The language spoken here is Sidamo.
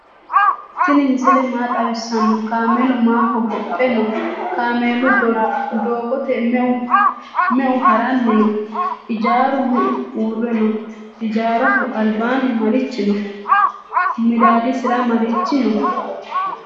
tini misile maa xawisano? kamelu maa hogophe no?kamelu dogote meu harani no? ijaru meu uure no?ijaraho albani marichi no?midadisira marichi no?